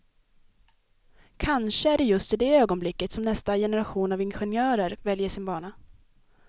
Kanske är det just i det ögonblicket som nästa generation av ingenjörer väljer sin bana.